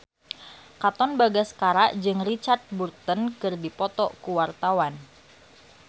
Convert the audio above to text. Katon Bagaskara jeung Richard Burton keur dipoto ku wartawan